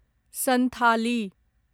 Santhali